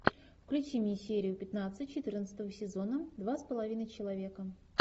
включи мне серию пятнадцать четырнадцатого сезона два с половиной человека